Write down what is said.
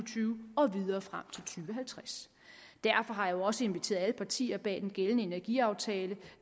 tyve og videre frem til tusind og halvtreds derfor har jeg også inviteret alle partierne bag den gældende energiaftale